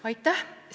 Aitäh!